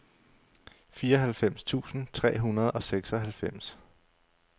fireoghalvfems tusind tre hundrede og seksoghalvfems